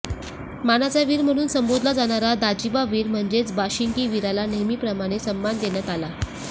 मानाचा वीर म्हणून संबोधला जाणारा दाजीबा वीर म्हणजेच बाशिंगी वीराला नेहमीप्रमाणे सन्मान देण्यात आला